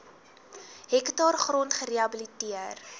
hektaar grond gerehabiliteer